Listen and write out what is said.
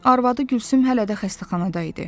Arvadı Gülsüm hələ də xəstəxanada idi.